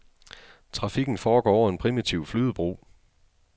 Trafikken foregår over en primitiv flydebro.